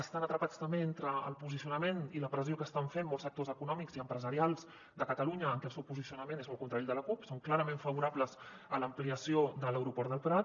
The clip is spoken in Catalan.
estan atrapats també entre el posicionament i la pressió que estan fent molts sectors econòmics i empresarials de catalunya que el seu posicionament és molt contrari al de la cup són clarament favorables a l’ampliació de l’aeroport del prat